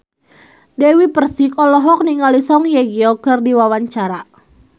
Dewi Persik olohok ningali Song Hye Kyo keur diwawancara